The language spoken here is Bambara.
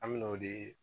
An bɛ n'o de